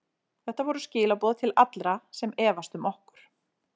Þetta voru skilaboð til allra sem efast um okkur.